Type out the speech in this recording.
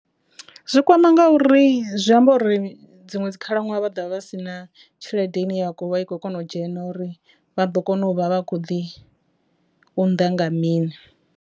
Zwi kwama ngauri zwi amba uri dziṅwe dzi khalaṅwaha vha dovha vha si na tshelede ine ya vha i khou kona u dzhena uri vha ḓo kona u vha vha kho ḓi unḓa nga mini.